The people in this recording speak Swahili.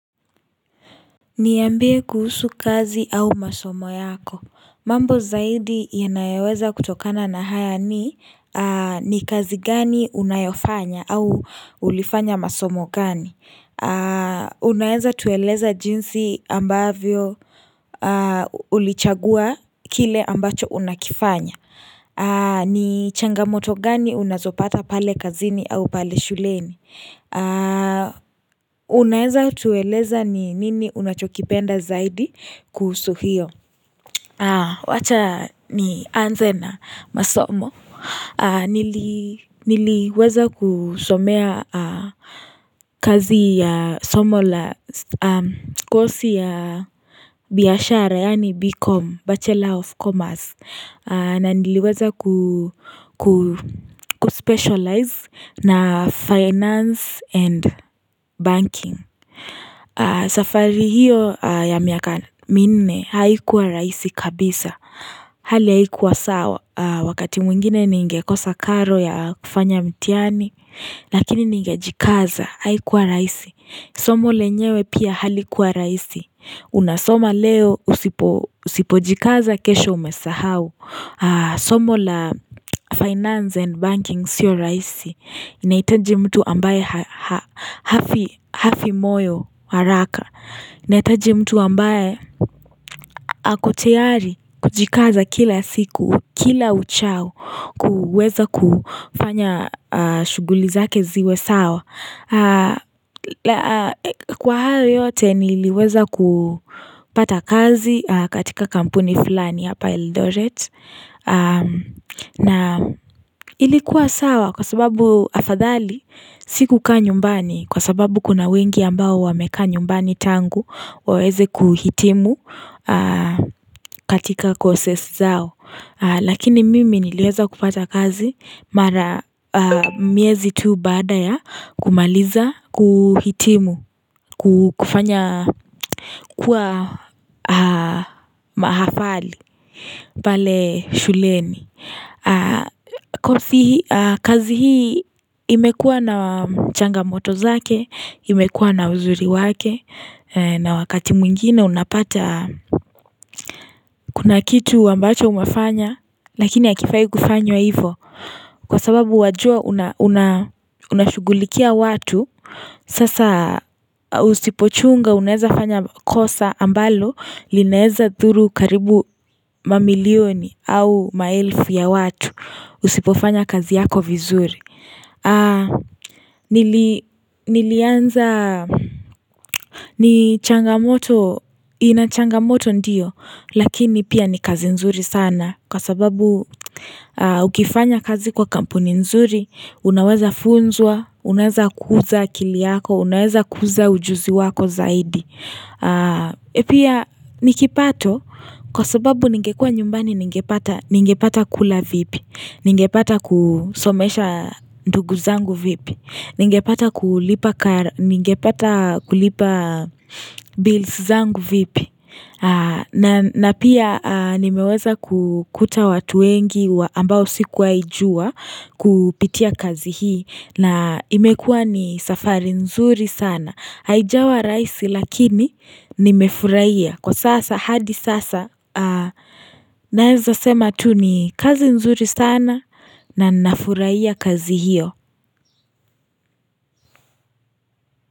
Niambie kuhusu kazi au masomo yako. Mambo zaidi yanayoweza kutokana na haya ni, ni kazi gani unayofanya au ulifanya masomo gani. Unaeza tueleza jinsi ambavyo ulichagua kile ambacho unakifanya. Ni changamoto gani unazopata pale kazini au pale shuleni. Unaweza tueleza ni nini unachokipenda zaidi kuhusu hiyo Wacha nianze na masomo Niliweza kusomea kazi ya, somo la, kosi ya biashara yani B.com, Bachelor of Commerce na niliweza kuspecialize na finance and banking safari hiyo ya miaka minne haikuwa rahisi kabisa Hali haikuwa sawa wakati mwingine ningekosa karo ya kufanya mtihani Lakini ningejikaza, haikuwa rahisi. Somo lenyewe pia halikuwa rahisi Unasoma leo usipojikaza kesho umesahau Somo la finance and banking sio rahisi. Inaitaji mtu ambaye hafi hafi moyo haraka. Inahitaji mtu ambaye ako tayari kujikaza kila siku kila uchao kuweza kufanya shughuli zake ziwe sawa Kwa hayo yote niliweza kupata kazi katika kampuni fulani ya Eldoret na ilikuwa sawa kwa sababu afadhali si kukaa nyumbani kwa sababu kuna wengi ambao wamekaa nyumbani tangu waweze kuhitimu katika courses zao Lakini mimi niliweza kupata kazi mara, miezi tu baada ya kumaliza, kuhitimu kufanya kuwa mahafali pale shuleni kazi hii imekuwa na changamoto zake imekuwa na uzuri wake na wakati mwingine unapata Kuna kitu ambacho umefanya lakini hakifai kufanywa hivyo. Kwa sababu wajua unashughulikia watu. Sasa usipochunga unaweza fanya kosa ambalo linawezadhuru karibu mamilioni au maelfu ya watu Usipofanya kazi yako vizuri Nilianza, ni changamoto, ina changamoto ndiyo lakini pia ni kazi nzuri sana kwa sababu ukifanya kazi kwa kampuni nzuri unaweza funzwa, unaweza kuza akili yako, unaweza kuza ujuzi wako zaidi Pia ni kipato kwa sababu ningekuwa nyumbani ningepata kula vipi, ningepata kusomesha ndugu zangu vipi, ningepata kulipa bills zangu vipi na pia nimeweza kukuta watu wengi ambao sikuwaijua kupitia kazi hii na imekuwa ni safari nzuri sana. Haijawa rahisi lakini nimefurahia, kwa sasa, hadi sasa naweza sema tu ni kazi nzuri sana na ninafurahia kazi hiyo.